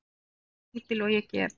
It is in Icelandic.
Eins lítil og ég get.